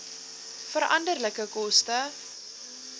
veranderlike koste